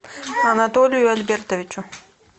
анатолию альбертовичу